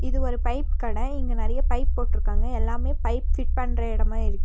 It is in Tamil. இது ஒரு பைப் கட இங்க நெறைய பைப் போட்டிருக்காங்க எல்லாமே பைப் பிட் பண்ற இடமா இருக்கு.